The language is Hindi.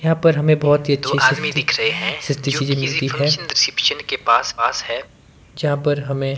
यहां पर हमें बहोत ही जहां पर हमें --